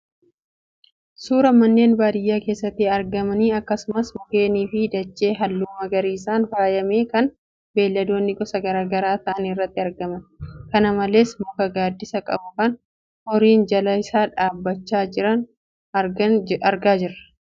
Suuraa manneen baadiyaa keessatti argamanii, akkasumas mukeenii fi dachee halluu magariisaan faayame kan beeladoonni gosa garaagaraa ta'an irratti argaman. kana malees muka gaaddisa qabu kan horiin jala isaa dhaabbachaa jiran argaan jira.